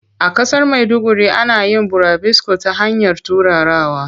A ƙasar maiduguri ana yin burabusko ta hanyar turarawa.